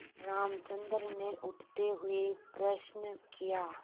रामचंद्र ने उठते हुए प्रश्न किया